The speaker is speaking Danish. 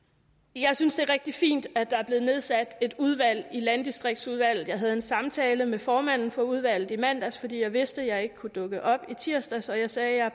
jeg synes det er rigtig fint at der er blevet nedsat et udvalg i landdistriktsudvalget jeg havde en samtale med formanden for udvalget i mandags fordi jeg vidste jeg ikke kunne dukke op i tirsdags og jeg sagde at